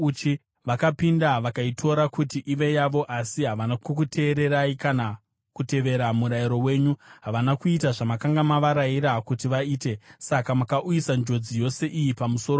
Vakapinda vakaitora kuti ive yavo, asi havana kukuteererai kana kutevera murayiro wenyu; havana kuita zvamakanga mavarayira kuti vaite. Saka makauyisa njodzi yose iyi pamusoro pavo.